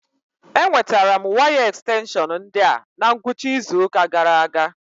Enwetara m waya ekstenshọn ndi a na ngwụcha izu ụka gara aga